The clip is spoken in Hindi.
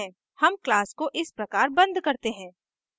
हम class को इस प्रकार बंद करते हैं